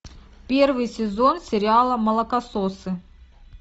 первый сезон сериала молокососы